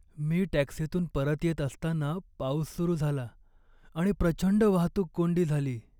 मी टॅक्सीतून परत येत असताना पाऊस सुरू झाला आणि प्रचंड वाहतूक कोंडी झाली.